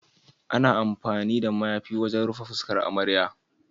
Ana amfani da mayafi wajen rufe fuskar amarya.